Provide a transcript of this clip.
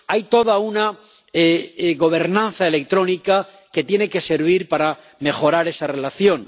Hay toda una gobernanza electrónica que tiene que servir para mejorar esa relación.